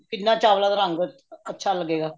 ਕਿੰਨਾ ਚਾਵਲਾ ਦਾ ਰੰਗ ਅੱਛਾ ਲਗੇਗਾ